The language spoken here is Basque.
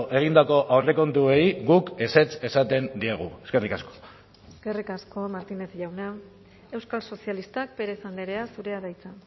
egindako aurrekontuei guk ezetz esaten diegu eskerrik asko eskerrik asko martínez jauna euskal sozialistak pérez andrea zurea da hitza